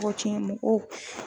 Tɔgɔ cɛn mɔgɔw